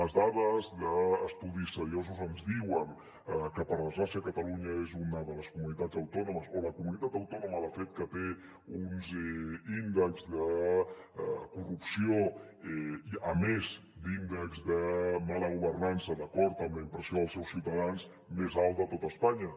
les dades d’estudis seriosos ens diuen que per desgràcia catalunya és una de les comunitats autònomes o la comunitat autònoma de fet que té uns índexs de corrupció a més d’índex de mala governança d’acord amb la impressió dels seus ciutadans més alts de tot espanya